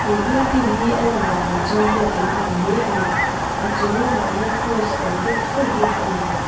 he building hi a landan ah chuan biakin a ang hle ani a chung lamah hian kraws awm deuh fur bawk ani.